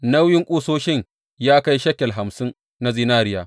Nauyin ƙusoshin ya kai shekel hamsin na zinariya.